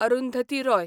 Arundhati Roy